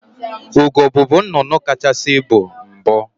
Ugo bubu nnnụnụ kacahasị ibu mbụ.